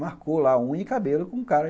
Marcou lá a unha e o cabelo com o cara.